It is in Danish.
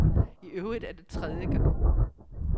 I øvrigt er det tredie gang.